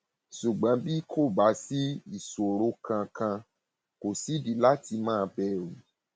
ṣùgbọn bí kò bá sí ìṣòro kankan kò sídìí láti máa bẹrù